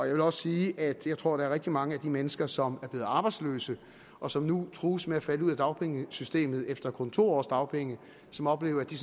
jeg vil også sige at jeg tror at der er rigtig mange af de mennesker som er blevet arbejdsløse og som nu trues med at falde ud af dagpengesystemet efter kun to års dagpenge som oplever at de